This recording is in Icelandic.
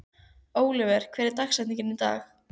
Oliver, hver er dagsetningin í dag?